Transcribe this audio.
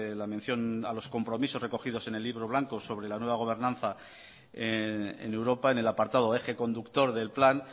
la mención a los compromisos recogidos en el libro blanco sobre la nueva gobernanza en europa en el apartado eje conductor del plan